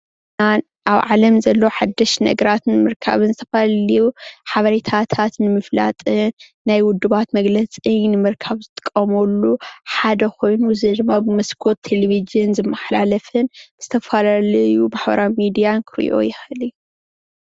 ኣብ ዓለም ዘለው ሓደሽቲ ነገራት ንምርካብን ዝተፈላለዩ ሓበሬታታት ንምፍላጥን ናይ ውድባት መግለፂ ንምርካብ ዝጥቀምሉ ሓደ ኾይኑ እዙይ ድማ ብመስኮት ቴሌቭዥን ዝመሓላለፍን ዝተፈላላዩ ማሕበራዊ ሚድያን ኽሪኦ ይኽእል እዩ።